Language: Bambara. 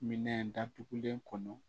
Minɛn datugulen kɔnɔ